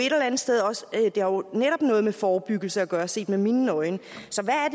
netop noget med forebyggelse at gøre set med mine øjne